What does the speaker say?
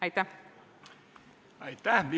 Aitäh!